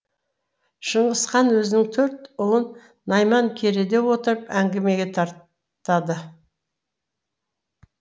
шыңғыс хан өзінің төрт ұлын найман кереде отырып әңгімеге тартады